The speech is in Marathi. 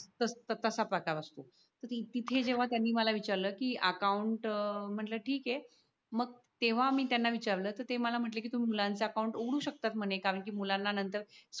त तसा प्रकार असत तिथे जेव्हा त्यांनी मला विचारलं कि अकावूंट म्हटल ठीक आह मग तेव्हा मी त्यांना विचारल तर ते मला म्हटले की तुम्ही मुलांच्या अकाउंट उघडू शकतात म्हणे कारण की मुलांना नंतर